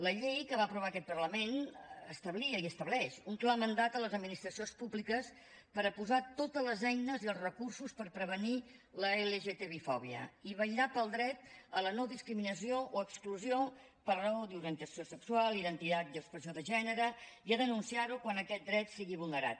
la llei que va aprovar aquest parlament establia i estableix un clar mandat a les administracions públiques per posar totes les eines i els recursos per prevenir la lgtbifòbia i vetllar pel dret a la no discriminació o exclusió per raó d’orientació sexual identitat i expressió de gènere i a denunciar ho quan aquest dret sigui vulnerat